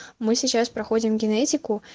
мы сейчас проходим генетику